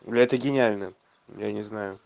бля это гениально я не знаю